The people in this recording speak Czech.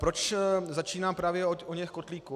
Proč začínám právě od oněch kotlíků?